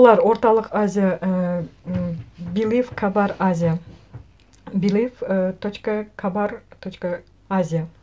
олар орталық азия ііі белив кабар азия белив і точка кабар точка азия